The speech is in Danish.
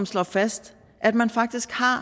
slår fast at man faktisk har